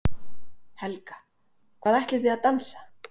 Helga: Hvað ætlið þið að dansa?